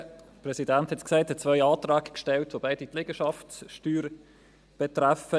Der Präsident sagte es: Ich habe zwei Anträge gestellt, welche beide die Liegenschaftssteuer betreffen.